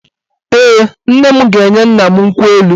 Ee, nne m ga-enye nna m nkwụ elu